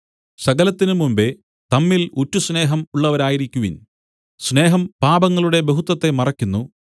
സകലത്തിനും മുമ്പെ തമ്മിൽ ഉറ്റസ്നേഹം ഉള്ളവരായിരിക്കുവിൻ സ്നേഹം പാപങ്ങളുടെ ബഹുത്വത്തെ മറക്കുന്നു